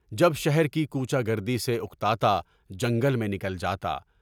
جب شہر کی کوچہ گردی سے اُکتاتا، جنگل میں نکل جاتا۔